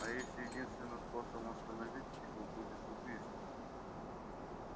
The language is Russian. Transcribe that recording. а если единственным способом остановить его будет убийство